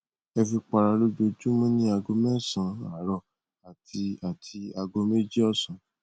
ẹ fi para lójoojúmọ ní aago mẹsàn án àárọ àti àti aago méjì ọsán